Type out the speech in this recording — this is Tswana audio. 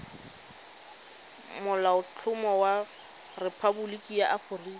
molaotlhomo wa rephaboliki ya aforika